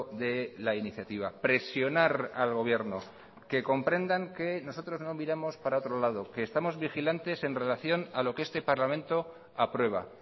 de la iniciativa presionar al gobierno que comprendan que nosotros no miramos para otro lado que estamos vigilantes en relación a lo que este parlamento aprueba